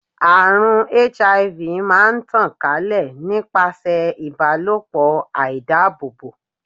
Àrùn HIV máa ń tàn ká lè nípasẹ̀ ìbálòpọ̀ àìdábòbò.